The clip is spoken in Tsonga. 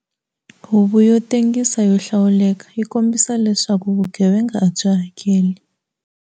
Huvo yo tengisa yo hlawuleka yi kombisa leswaku vugevenga a byi hakeli